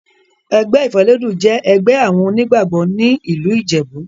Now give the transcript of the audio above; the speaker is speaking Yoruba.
Ẹgbẹ́ ìfélódún jẹ́ ẹgbẹ́ àwọn onígbàgbọ́ ní ìlú ìjẹ̀bú.